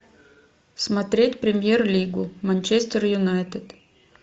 смотреть премьер лигу манчестер юнайтед